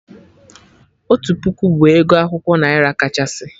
Otu puku bụ ego akwụkwọ naira kachasị